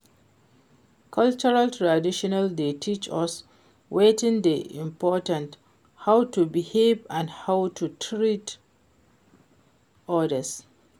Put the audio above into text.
Cultural tradition dey teach us wetin dey important, how to behave and how to treat odas.